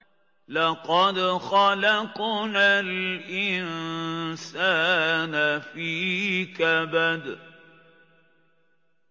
لَقَدْ خَلَقْنَا الْإِنسَانَ فِي كَبَدٍ